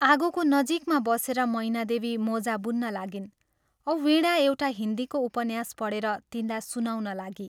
आगोको नजीकमा बसेर मैनादेवी मोजा बुन्न लागिन् औ वीणा एउटा हिन्दीको उपन्यास पढेर तिनलाई सुनाउन लागी।